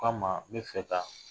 O k' a ma, n bɛ fɛ ka